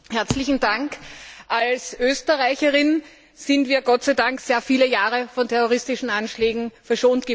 Frau Präsidentin! Als ÖsterreicherInnen sind wir Gott sei Dank sehr viele Jahre von terroristischen Anschlägen verschont geblieben.